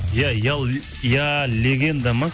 иә я легенда ма